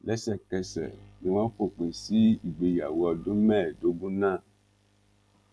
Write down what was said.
lẹ́sẹ̀kẹsẹ̀ ni wọ́n fòpin sí ìgbéyàwó ọdún mẹ́ẹ̀ẹ́dógún náà